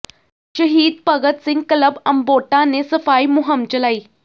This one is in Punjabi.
ਸ਼ਹੀਦ ਭਗਤ ਸਿੰਘ ਕਲੱਬ ਅਮਬੋਟਾ ਨੇ ਸਫਾਈ ਮੁਹਿੰਮ ਚਲਾਈ